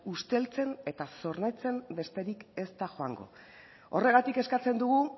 usteltzen eta zorrotzen besterik ez da joango horregatik eskatzen dugu